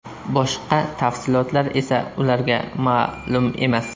Boshqa tafsilotlar esa ularga ma’lum emas.